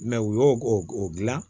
u y'o o dilan